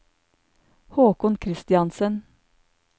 Håkon Kristiansen